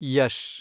Yash